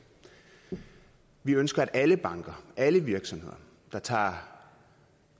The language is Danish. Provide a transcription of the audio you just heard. vi ønsker at alle banker alle virksomheder der tager